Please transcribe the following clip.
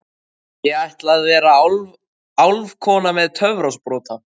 Ég ætla að vera álfkona með töfrasprota.